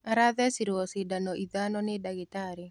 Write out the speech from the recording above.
Arathecirwo cindano ithano nĩ ndagĩtarĩ.